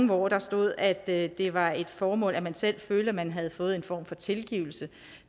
hvor der stod at det var et formål at man selv følte at man havde fået en form for tilgivelse